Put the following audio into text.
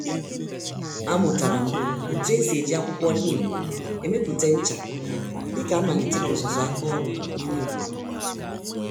A mụtaram otú esi eji akwụkwọ neem emepụta ncha, dịka a malitere ọzụzụ àkà ọrụ n'ime obodo.